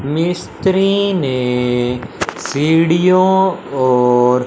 मिस्त्री ने सीढ़ियों और--